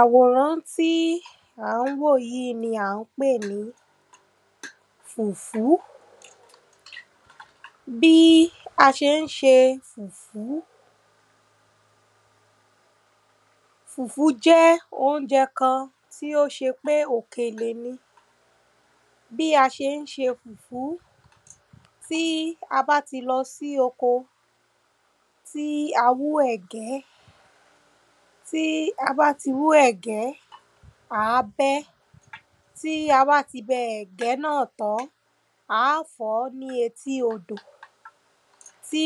àwòrán tí a ń wò yìí ni à ń pè ní fùfú. bí a ṣe ń ṣe fùfú fùfú jẹ́ oúnjẹ kan tí ó ṣe pé òkèlè ni. bí a ṣe ń ṣe fùfú, tí a bá ti lọ sí oko, tí a wú ẹ̀gẹ́, tí a bá ti wú ẹ̀gẹ́, àá bẹ́ ẹ́, tí a bá ti bẹ ẹ̀gẹ́ náà tán, àá fọ̀ọ́ ní etí odò. tí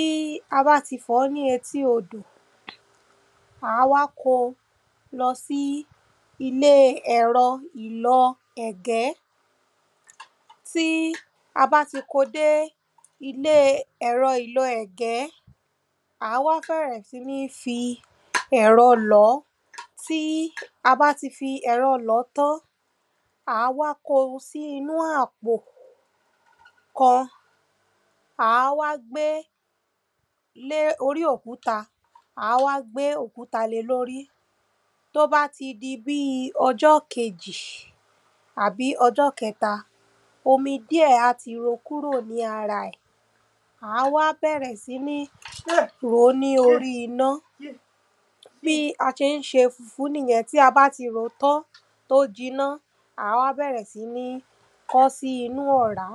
a bá ti fọ̀ọ́ ní etí odọ́, àá kóo lọ sí ilé ìlọ̀ ẹ̀gẹ́ tí a bá ti kóo dé ilé ẹ̀rọ ìlọ ẹ̀gẹ́ àá wá bẹ̀rẹ̀ sí ní fi ẹ̀rọ lọ̀ọ́, tí a bá ti fi ẹ̀rọ lọ̀ọ́ tán, àá wá kóo sí inú àpò kan. àá wá gbé lé orí òkúta, àá wá gbé òkúta lée lórí. tó bá ti di bíi ọjọ́ kejì àbí ọjọ́ kẹ́ta, omi dí ẹ̀ á ti ro kúrò ní ara ẹ̀ àá wá bẹ̀rẹ̀ sí ní ròó ní orí iná bí a ṣe ń ṣe fùfú nìyẹn. tí a bá ti ròó tán tóó jiná, à wá bẹ̀rẹ̀ sí ní kọ ọ́ sínu ọ̀rá.